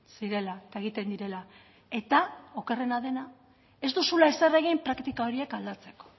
zirela eta egiten direla eta okerrena dena ez duzula ezer egin praktika horiek aldatzeko